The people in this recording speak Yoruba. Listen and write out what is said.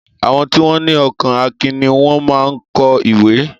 Àwọn tí wọn ní ọkàn akin ní wón máa ń kọ ìwé